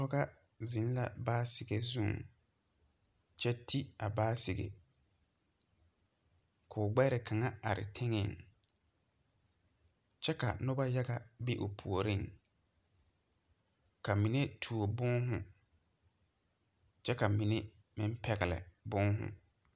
Pɔgɔ zeŋ la baasike zuŋ kyɛ te a baasike koo gbɛre kaŋa are teŋɛŋ kyɛ ka nobɔ yaga be o puoriŋ ka mine tuo bòònhū kyɛ ka mine meŋ pɛgle bòònhū.